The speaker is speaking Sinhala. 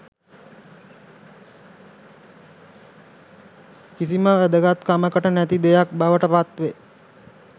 කිසිම වැදගත්කමකට නැති දෙයක් බවට පත්වේ